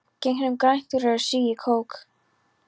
Gegnum grænt rör sýg ég kók.